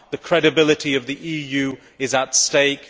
The credibility of the EU is at stake.